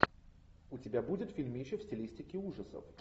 у тебя будет фильмище в стилистике ужасов